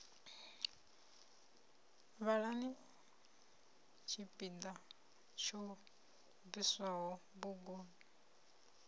vhalani tshipiḓa tsho bviswaho buguni